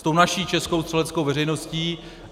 S tou naší českou střeleckou veřejností.